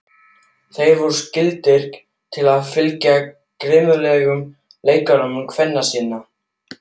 Þeir voru skyldugir til að fylgja grimmúðlegum leikreglum kvenna sinna.